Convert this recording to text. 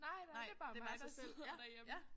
Nej nej det er bare mig der sidder derhjemme